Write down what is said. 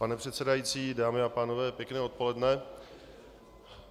Pane předsedající, dámy a pánové, pěkné odpoledne.